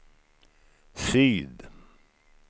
syd